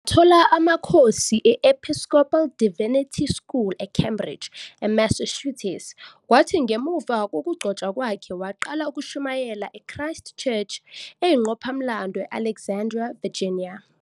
Wathola amakhosi e- Episcopal Divinity School eCambridge, eMassachusetts, kwathi ngemuva kokugcotshwa kwakhe waqala ukushumayela e- Christ Church eyingqophamlando e- Alexandria, eVirginia.